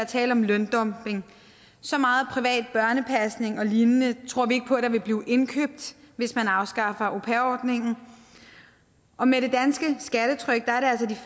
tale om løndumping så meget privat børnepasning og lignende tror vi ikke på vil blive indkøbt hvis man afskaffer au pair ordningen og med det danske skattetryk